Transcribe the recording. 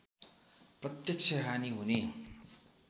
प्रत्यक्ष हानि हुने